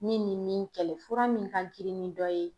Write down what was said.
Min ni min kɛlɛ fura min ka girin ni dɔ ye.